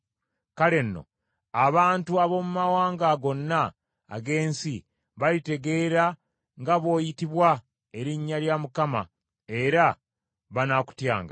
Kale nno abantu ab’omu mawanga gonna ag’ensi balitegeera nga bw’oyitibwa erinnya lya Mukama era banaakutyanga.